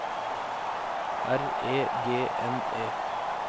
R E G N E